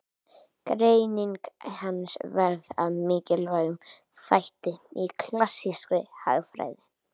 Greining hans varð að mikilvægum þætti í klassískri hagfræði.